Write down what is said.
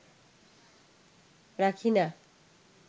রাখি না